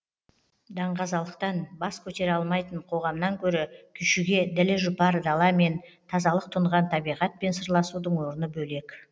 даңғазалықтан бас көтере алмайтын қоғамнан гөрі күйшіге ділі жұпар даламен тазалық тұнған табиғатпен сырласудың орны бөлек